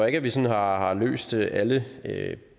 ikke at vi sådan har har løst alle